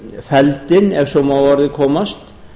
feldinn ef svo má að orði komast